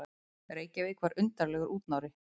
Reykjavík var undarlegur útnári.